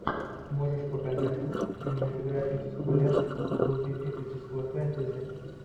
можешь показать кинематографическую ленту в духе эпического фэнтези